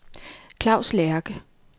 Claus Lerche